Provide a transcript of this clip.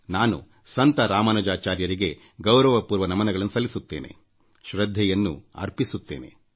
ನಾನು ಆಚಾರ್ಯ ರಾಮಾನುಜಾಚಾರ್ಯರಿಗೆ ಗೌರವ ಪೂರ್ವಕವಾದ ನಮನಗಳನ್ನು ಸಲ್ಲಿಸುತ್ತೇನೆಶ್ರದ್ಧೆಯನ್ನು ಅರ್ಪಿಸುತ್ತೇನೆ